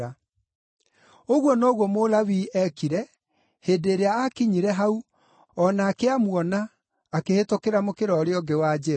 Ũguo noguo Mũlawii eekire, hĩndĩ ĩrĩa aakinyire hau, o nake, amuona akĩhĩtũkĩra mũkĩra ũũrĩa ũngĩ wa njĩra.